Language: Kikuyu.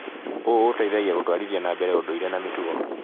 ũũ ũteithagia gũtwarithia na mbere ũndũire na mĩtugo.